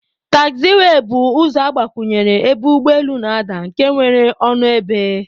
Tagziwey bu ụzọ agbakwunye ebe ụgbọ elu n'adaa nke nwere ọnụ ebe.